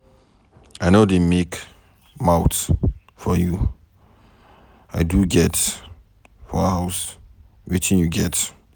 I no dey make mouth for you. I do get 4 houses wetin you get.